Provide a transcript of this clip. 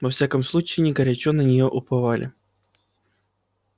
во всяком случае они горячо на неё уповали